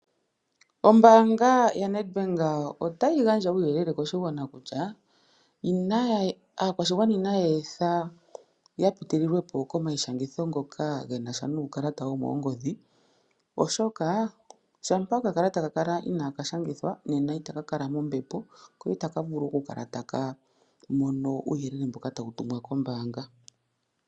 Ombaanga yaNEDBANK ota yi gandja uuyelele koshigwana kutya inaya aakwashigwana inaya etha ya pitililwe po komayishangitho ngoka gena sha nuukalata womoongodhi oshoka shampa okakalata ka kala inaka shagithwa nena ita ka kala mombepo ko ita vulu okukala ta ko mono uuyelele mboka ta wu tumwa kombaanga.